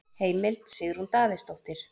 Heimild: Sigrún Davíðsdóttir.